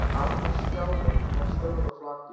Annar skjárinn var stór og flatur.